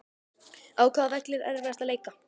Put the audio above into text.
Á hvaða velli er erfiðast að leika?